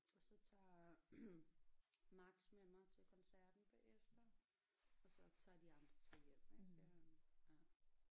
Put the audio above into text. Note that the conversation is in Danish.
Og så tager Max med mig til koncerten bagefter og så tager de andre så hjem ik øh ja